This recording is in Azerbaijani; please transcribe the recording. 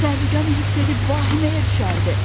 Təhlükəni hiss edib vahiməyə düşərdi.